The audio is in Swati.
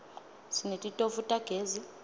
sinetitofu tagezi